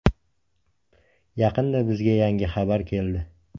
Yaqinda bizga yangi xabar keldi.